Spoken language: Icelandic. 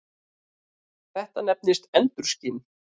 Þetta nefnist endurskin.